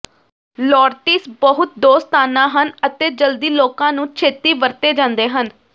ਲੋਰਟਿਸ ਬਹੁਤ ਦੋਸਤਾਨਾ ਹਨ ਅਤੇ ਜਲਦੀ ਲੋਕਾਂ ਨੂੰ ਛੇਤੀ ਵਰਤੇ ਜਾਂਦੇ ਹਨ